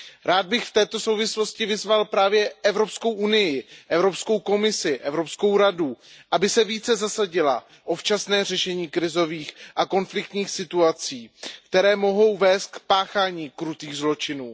Rád bych v této souvislosti vyzval Evropskou unii, Evropskou komisi, Evropskou radu, aby se více zasadily o včasné řešení krizových a konfliktních situací, které mohou vest k páchání krutých zločinů.